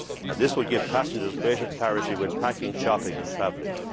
This will give passengers greater clarity when packing, shopping and travelling.